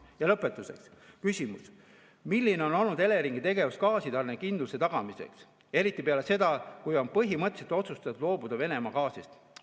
Ja lõpetuseks küsimus: milline on olnud Eleringi tegevus gaasitarnekindluse tagamiseks, eriti peale seda, kui on põhimõtteliselt otsustatud loobuda Venemaa gaasist?